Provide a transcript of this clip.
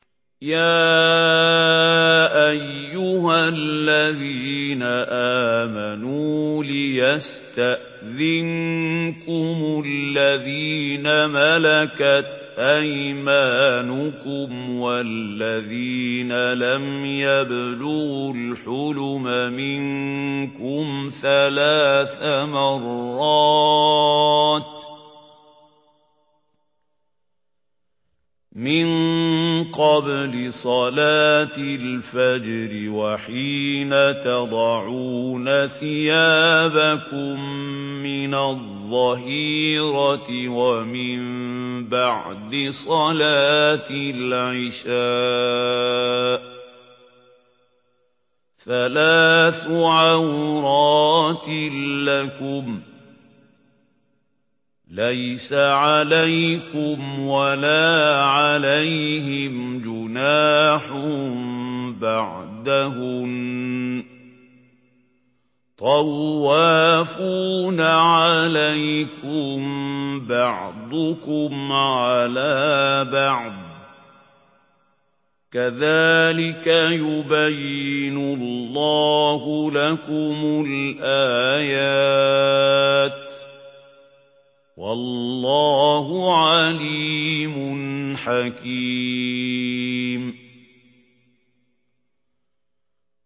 يَا أَيُّهَا الَّذِينَ آمَنُوا لِيَسْتَأْذِنكُمُ الَّذِينَ مَلَكَتْ أَيْمَانُكُمْ وَالَّذِينَ لَمْ يَبْلُغُوا الْحُلُمَ مِنكُمْ ثَلَاثَ مَرَّاتٍ ۚ مِّن قَبْلِ صَلَاةِ الْفَجْرِ وَحِينَ تَضَعُونَ ثِيَابَكُم مِّنَ الظَّهِيرَةِ وَمِن بَعْدِ صَلَاةِ الْعِشَاءِ ۚ ثَلَاثُ عَوْرَاتٍ لَّكُمْ ۚ لَيْسَ عَلَيْكُمْ وَلَا عَلَيْهِمْ جُنَاحٌ بَعْدَهُنَّ ۚ طَوَّافُونَ عَلَيْكُم بَعْضُكُمْ عَلَىٰ بَعْضٍ ۚ كَذَٰلِكَ يُبَيِّنُ اللَّهُ لَكُمُ الْآيَاتِ ۗ وَاللَّهُ عَلِيمٌ حَكِيمٌ